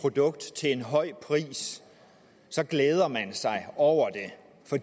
produkt til en høj pris så glæder man sig over